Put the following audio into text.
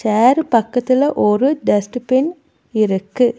சேரு பக்கத்துல ஒரு dust bin இருக்கு.